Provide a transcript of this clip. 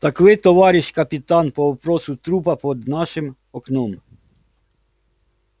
так вы товарищ капитан по вопросу трупа под нашим окном